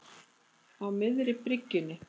Á miðri bryggjunni.